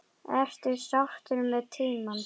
Ertu sáttur með tímann?